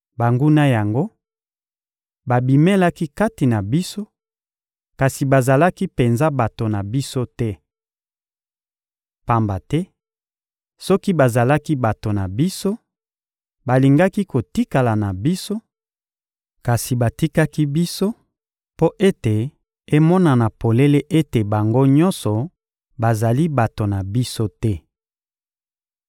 Banguna yango babimelaki kati na biso, kasi bazalaki penza bato na biso te. Pamba te soki bazalaki bato na biso, balingaki kotikala na biso; kasi batikaki biso mpo ete emonana polele ete bango nyonso bazali bato na biso te.